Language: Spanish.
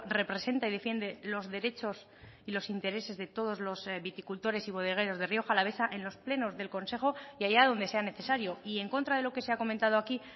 representa y defiende los derechos y los intereses de todos los viticultores y bodegueros de rioja alavesa en los plenos del consejo y allá donde sea necesario y en contra de lo que se ha comentado aquí